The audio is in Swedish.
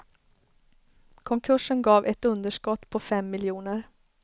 Konkursen gav ett underskott på fem miljoner.